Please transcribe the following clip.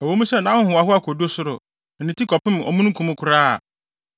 Ɛwɔ mu sɛ nʼahohoahoa kodu ɔsoro, na ne ti kɔpem omununkum koraa a,